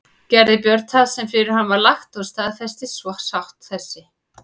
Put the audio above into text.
Gerði Björn það sem fyrir hann var lagt og staðfestist svo sátt þessi.